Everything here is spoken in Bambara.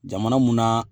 Jamana mun na